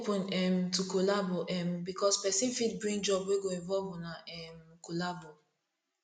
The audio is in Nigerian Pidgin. dey open um to collabo um bikos pesin fit bring job wey go involve una um collabo